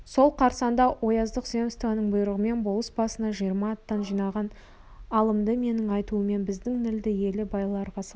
сол қарсаңда ояздық земствоның бұйрығымен болыс басына жиырма аттан жинаған алымды менің айтуыммен біздің нілді елі байларға салды